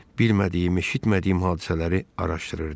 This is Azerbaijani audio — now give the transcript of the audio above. Bilmədiyimi, eşitmədiyim hadisələri araşdırırdım.